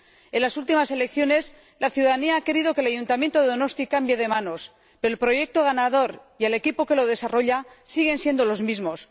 En las últimas elecciones, la ciudadanía ha querido que el Ayuntamiento de Donosti cambie de manos, pero el proyecto ganador y el equipo que lo desarrolla siguen siendo los mismos.